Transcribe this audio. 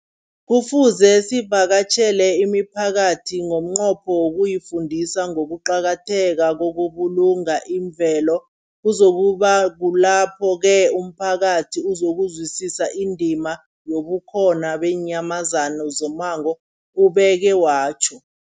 Kufuze sivakatjhele imiphakathi ngomnqopho wokuyifundisa ngokuqakatheka kokubulunga imvelo. Kuzoku ba kulapho-ke umphakathi uzokuzwisisa indima yobukhona beenyamazana zommango, ubeke watjho.